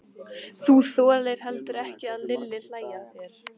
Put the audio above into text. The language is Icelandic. Þú þolir heldur ekki að Lilli hlæi að þér.